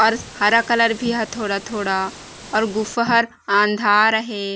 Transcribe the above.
अउर हरा कलर भी ह थोड़ा - थोड़ा अउ गुफा हर आंधार हे।